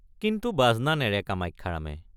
কিন্তু বাজনা নেৰে কামাখ্যাৰামে।